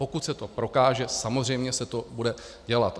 Pokud se to prokáže, samozřejmě se to bude dělat.